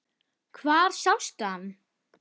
Hvar sástu hann?